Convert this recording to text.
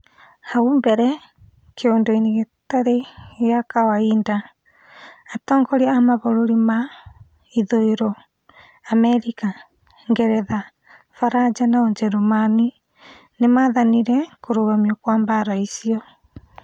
Haũ mbere kiũndũ-inĩ gĩtarĩ gĩa kawaida , atongoria a mabũrũri ma ithũĩro , Amerika, Ngeretha, Faraja na ũjeremani nĩmathanire kũrũgamio kwa mbara icio